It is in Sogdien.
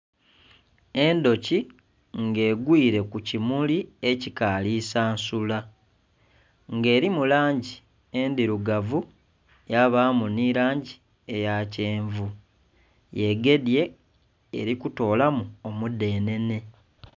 Endhuki nga egwiire kukimuli ekikali sansula nga erimu langi endhilugavu yabamu nhirangi eya kyenvu yegedhye erikutolamu omudhenhenhe.